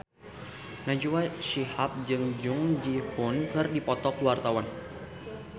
Najwa Shihab jeung Jung Ji Hoon keur dipoto ku wartawan